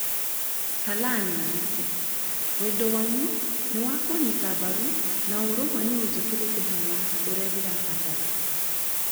Salah nĩoigĩte 'Wendo wanyu nĩ wakunyita mbaru na ũũrũmwe nĩũnjĩkĩrĩte hinya ũrĩa ndĩrabatara'